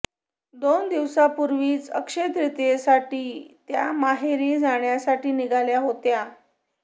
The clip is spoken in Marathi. दोन दिवसांपूर्वीच अक्षय्य तृतियेसाठी त्या माहेरी जाण्यासाठी निघाल्या होत्या